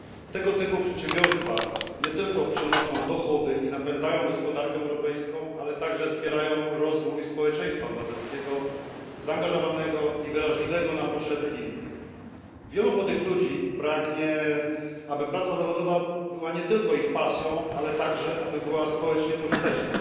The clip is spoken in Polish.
Tego typu przedsiębiorstwa nie tylko przynoszą dochody i napędzają gospodarkę europejską, ale także wspierają rozwój społeczeństwa obywatelskiego, zaangażowanego i wrażliwego na potrzeby innych. Wielu młodych ludzi pragnie, aby praca zawodowa była nie tylko ich pasją, ale także aby była społecznie pożyteczna.